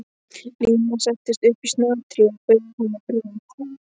Nína settist upp í snatri og bauð honum brauð.